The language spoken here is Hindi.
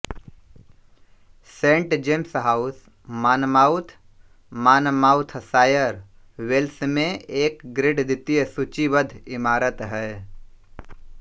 Saint James House Monmouth Monmouthshire Wales में एक ग्रेड द्वितीय सूचीबद्ध इमारत है